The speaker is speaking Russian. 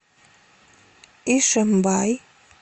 ишимбай